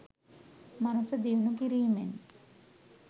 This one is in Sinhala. මනස දියුණු කිරීමෙන්